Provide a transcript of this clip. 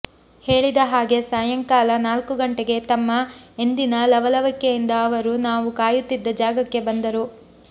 ಹೇಳಿದ ಹಾಗೆ ಸಾಯಂಕಾಲ ನಾಲ್ಕು ಗಂಟೆಗೆ ತಮ್ಮ ಎಂದಿನ ಲವಲವಿಕೆಯಿಂದ ಅವರು ನಾವು ಕಾಯುತ್ತಿದ್ದ ಜಾಗಕ್ಕೆ ಬಂದರು